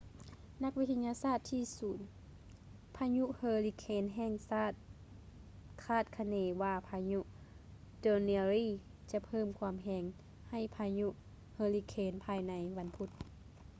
ນັກວິທະຍາສາດທີ່ສູນພະຍຸເຮີລິເຄນແຫ່ງຊາດຄາດຄະເນວ່າພາຍຸ danielle ຈະເພີ່ມຄວາມແຮງໃຫ້ພາຍຸເຮີຣິເຄນພາຍໃນວັນພຸດ